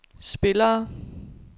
spillere